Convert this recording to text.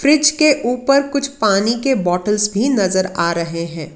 Fridge के ऊपर कुछ पानी के बॉटल्स भी नजर आ रहे हैं।